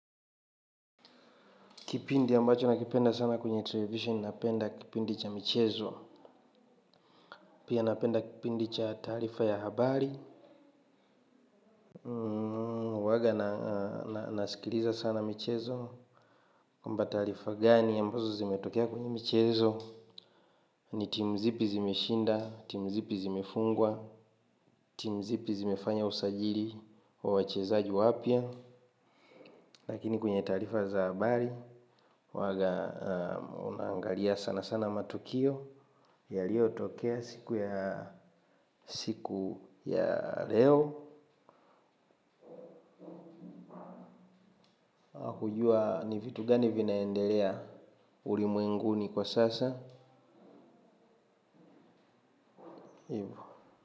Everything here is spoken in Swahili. Kipindi ambacho nakipenda sana kwenye televisheni napenda kipindi cha michezo. Pia napenda kipindi cha taarifa ya habari. Huaga nasikiliza sana michezo. Kwamba taarifa gani ambazi zimetokea kwa michezo. Ni timu zipi zimeshinda timu zipi zimefungwa timu zipi timu zipi zimefanya usajili wa wachezaji wapya. Lakini kwenye taarifa za habari, huaga unaangalia sana sana matukio. Ya liyo tokea siku ya siku ya leo. Akujua ni vitu gani vinaendelea ulimwenguni kwa sasa Ivo.